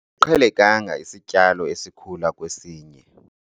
Asiqhelekanga isityalo esikhula kwesinye.